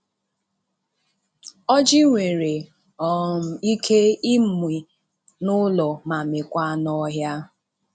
Ọjị nwere um Ike ịmị n'ụlọ ma mịkwaa n'ọhịa.